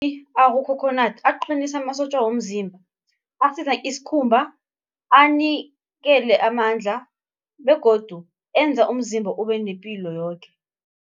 Akukhokhonadi aqinisa amasotja womzimba, asiza isikhumba, anikele amandla begodu enza umzimba ube nepilo yoke.